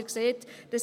Sie sehen also: